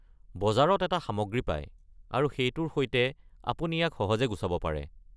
বজাৰত এটা সামগ্ৰী পায়, আৰু সেইটোৰ সৈতে আপুনি ইয়াক সহজে গুচাব পাৰে।